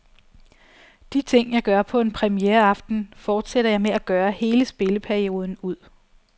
De ting, jeg gør på en premiereaften, fortsætter jeg med at gøre hele spilleperioden ud.